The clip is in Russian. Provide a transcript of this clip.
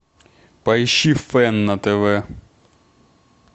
поищи фэн на тв